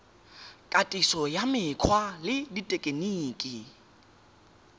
katiso ya mekgwa le dithekeniki